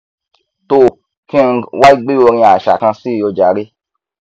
toò kí n wá gbé orin aṣa kan síi ojàre